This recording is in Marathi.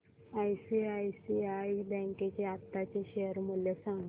आयसीआयसीआय बँक चे आताचे शेअर मूल्य सांगा